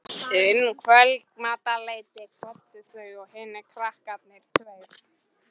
Um kvöldmatarleytið kvöddu þau og hinir kanarnir tveir.